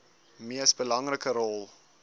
mees belangrike rol